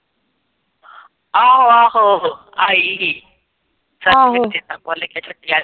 ਆਹੋ ਆਹੋ ਆਈ ਸੀ ਚੇਤਾ ਭੁਲ ਗਿਆ